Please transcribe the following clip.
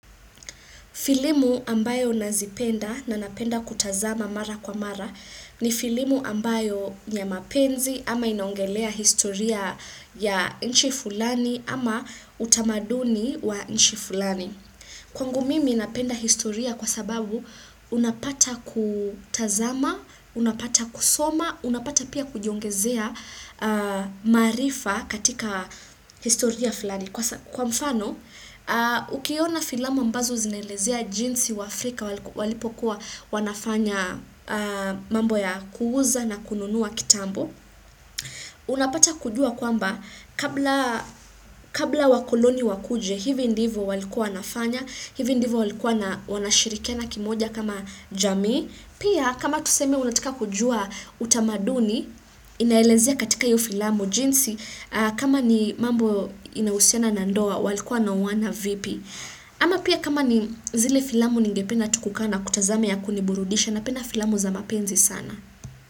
Filamu ambayo nazipenda na napenda kutazama mara kwa mara ni filamu ambayo ni ya mapenzi ama inaongelea historia ya nchi fulani ama utamaduni wa nchi fulani. Kwangu mimi napenda historia kwa sababu unapata kutazama, unapata kusoma, unapata pia kujiongezea maarifa katika historia fulani. Kwa mfano, ukiona filamu ambazo zinaelezea jinsi waafrika walipokuwa wanafanya mambo ya kuuza na kununua kitambo. Unapata kujua kwamba, kabla wakoloni wakuje, hivi ndivo walikuwa wanafanya, hivi ndivo walikuwa wanashirikiana kimoja kama jamii. Pia kama tuseme unataka kujua utamaduni inaelezea katika hiyo filamu jinsi kama ni mambo inahusiana na ndoa walikuwa wanaoana vipi. Ama pia kama ni zile filamu ningependa tu kukaa na kutazama ya kuniburudisha napenda filamu za mapenzi sana.